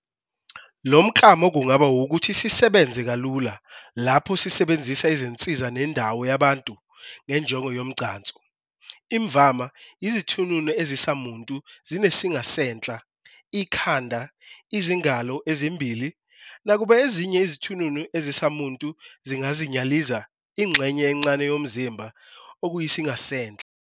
Lomklamo kungaba owokuthi sisebenze kalula, lapho sisebenzisa izinsiza nendawo yabantu, ngenjongo yomgcanso. Imvama, izithununu ezisamuntu zinesingasenhla, ikhanda, izingalo ezimbili, nakuba ezinye izithununu ezisamuntu zinganyaliza ingxenye encane yomzimba, okuyisingasenhla.